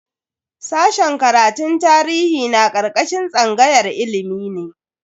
Sashen karatun tarihi na karkashin tsangayar ilimi ne.